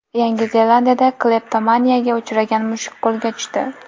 Yangi Zelandiyada kleptomaniyaga uchragan mushuk qo‘lga tushdi.